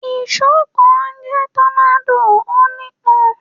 Ìṣó kan ń jẹ́ tọ́nádò, ó ní ipọn.